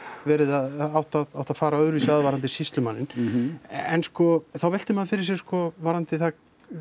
verið eða átt að átt að fara öðruvísi að varðandi sýslumanninn en sko þá veltir maður fyrir sér sko varðandi það